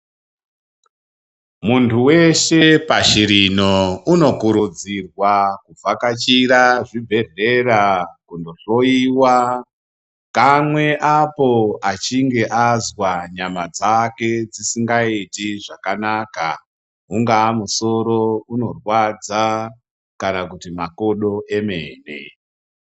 Muntu weshe pashi rino unokurudzirwa kuvhakachira zvibhedhlera kunohloiwa kamwe apo achinge azwa nyama dzake dzisingaiti zvakanaka ungawa musoro unorwadza kana kuti makodo emene .